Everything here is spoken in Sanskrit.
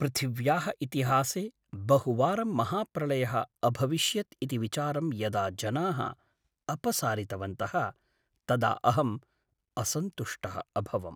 पृथिव्याः इतिहासे बहुवारं महाप्रलयः अभविष्यत् इति विचारं यदा जनाः अपसारितवन्तः तदा अहं असन्तुष्टः अभवम्।